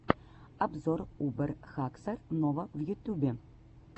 обзор убер хаксор нова в ютюбе